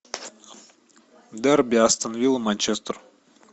дерби астон вилла манчестер